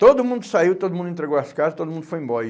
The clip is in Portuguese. Todo mundo saiu, todo mundo entregou as casas, todo mundo foi embora. E